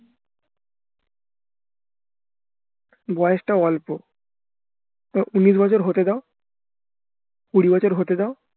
বয়সটা অল্প উন্নিশ বছর হতে দাও কুড়ি বছর হতে দাও